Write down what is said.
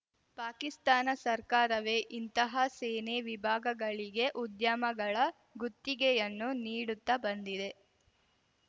ಪಾಕಿಸ್ತಾನ ಸರ್ಕಾರವೇ ಇಂತಹ ಸೇನೆ ವಿಭಾಗಗಳಿಗೆ ಉದ್ಯಮಗಳ ಗುತ್ತಿಗೆಯನ್ನೂ ನೀಡುತ್ತ ಬಂದಿದೆ